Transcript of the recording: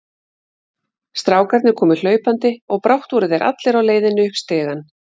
Strákarnir komu hlaupandi og brátt voru þeir allir á leiðinni upp stigann.